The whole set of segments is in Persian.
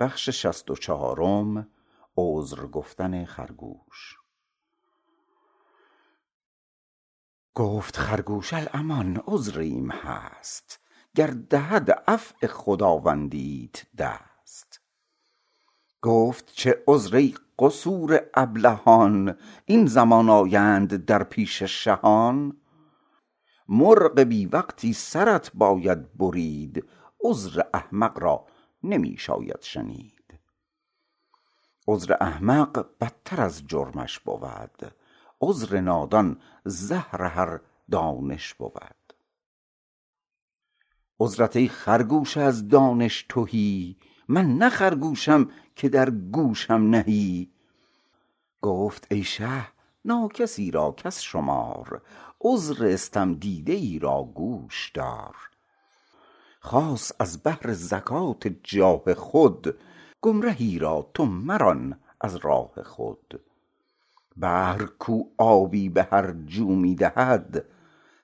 گفت خرگوش الامان عذریم هست گر دهد عفو خداوندیت دست گفت چه عذر ای قصور ابلهان این زمان آیند در پیش شهان مرغ بی وقتی سرت باید برید عذر احمق را نمی شاید شنید عذر احمق بدتر از جرمش بود عذر نادان زهر هر دانش بود عذرت ای خرگوش از دانش تهی من نه خرگوشم که در گوشم نهی گفت ای شه ناکسی را کس شمار عذر استم دیده ای را گوش دار خاص از بهر زکات جاه خود گمرهی را تو مران از راه خود بحر کو آبی به هر جو می دهد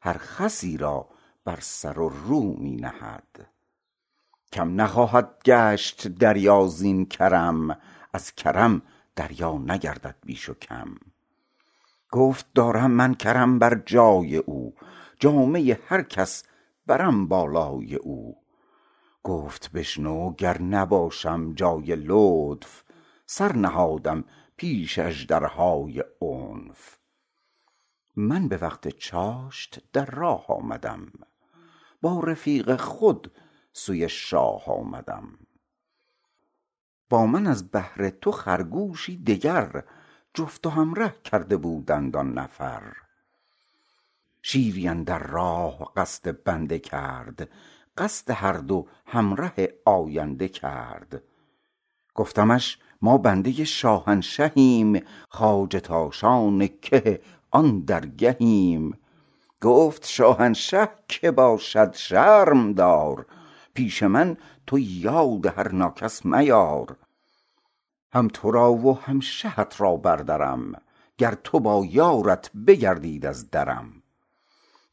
هر خسی را بر سر و رو می نهد کم نخواهد گشت دریا زین کرم از کرم دریا نگردد بیش و کم گفت دارم من کرم بر جای او جامه هر کس برم بالای او گفت بشنو گر نباشم جای لطف سر نهادم پیش اژدرهای عنف من به وقت چاشت در راه آمدم با رفیق خود سوی شاه آمدم با من از بهر تو خرگوشی دگر جفت و همره کرده بودند آن نفر شیری اندر راه قصد بنده کرد قصد هر دو همره آینده کرد گفتمش ما بنده شاهنشهیم خواجه تاشان که آن درگهیم گفت شاهنشه کی باشد شرم دار پیش من تو یاد هر ناکس میار هم ترا و هم شهت را بردرم گر تو با یارت بگردید از درم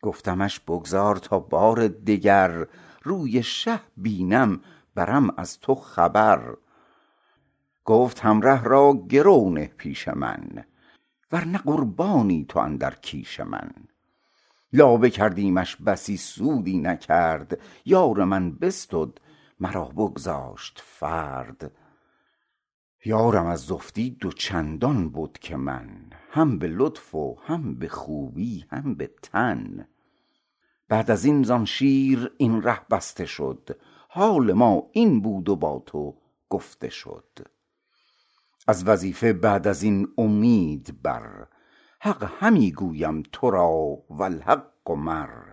گفتمش بگذار تا بار دگر روی شه بینم برم از تو خبر گفت همره را گرو نه پیش من ور نه قربانی تو اندر کیش من لابه کردیمش بسی سودی نکرد یار من بستد مرا بگذاشت فرد یارم از زفتی دو چندان بد که من هم به لطف و هم به خوبی هم به تن بعد ازین زان شیر این ره بسته شد حال ما این بود و با تو گفته شد از وظیفه بعد ازین اومید بر حق همی گویم ترا والحق مر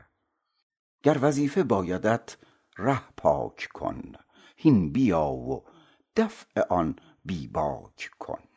گر وظیفه بایدت ره پاک کن هین بیا و دفع آن بی باک کن